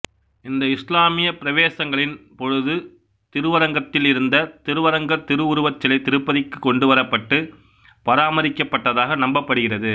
இந்த இசுலாமிய பிரவேசங்களின் பொழுது திருவரங்கத்தில் இருந்த திருவரங்கர் திரு உருவச் சிலை திருப்பதிக்கு கொண்டுவரப்பட்டு பராமரிக்கப்பட்டதாக நம்பப்படுகிறது